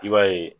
I b'a ye